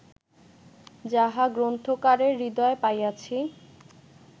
যাহা গ্রন্থকারের হৃদয়ে পাইয়াছি